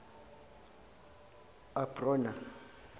abrona